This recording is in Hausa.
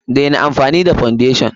Daina amfani da foundation!